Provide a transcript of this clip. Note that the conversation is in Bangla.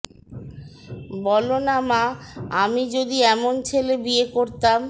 বলো না মা আমি যদি এমন ছেলে বিয়ে করতাম